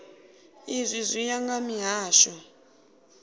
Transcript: izwi zwi ya nga mihasho